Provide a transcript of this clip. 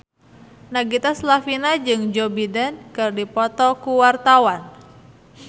Nagita Slavina jeung Joe Biden keur dipoto ku wartawan